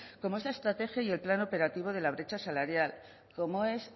como es la estrategia y el plan operativo de la brecha salarial como es